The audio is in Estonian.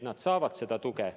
Nad saavad seda tuge.